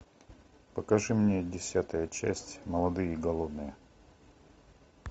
покажи мне десятая часть молодые и голодные